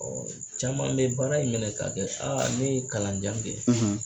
Ɔɔ caman be baara in minɛ ka kɛ aa ne ye kalan jan kɛ